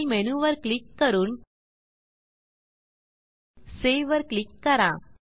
file मेनूवर click करून save वर क्लिक करा